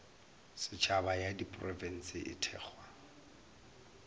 setšhaba ya diprofense e thekgwa